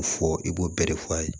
Fɔ i b'o bɛɛ de fɔ a ye